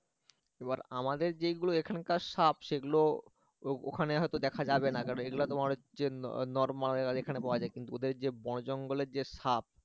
এবার আমাদের যেগুলো এখানকার সাপ সেগুলো ওখানে হয়তো দেখা যাবে না কারণ এগুলো তোমার হচ্ছে normal এখানে পাওয়া যায় কিন্তু ওদের যে বন জঙ্গলের যে সাপ